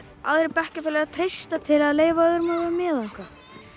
aðrir bekkjarfélagar treysta til að leyfa öðrum að vera með og eitthvað